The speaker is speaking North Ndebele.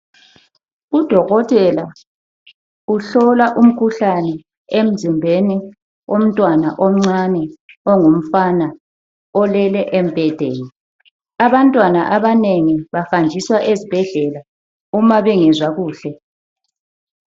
Udokotela uhlola umkhuhlane emzimbeni womntwana omncane ongumfana olele embhedeni. Abantwana abanengi bahanjiswa ezibhedlela uma bengezwa kuhle.